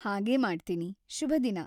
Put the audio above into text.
ಹಾಗೇ ಮಾಡ್ತೀನಿ. ಶುಭದಿನ.